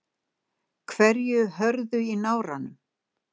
hverju hörðu í náranum.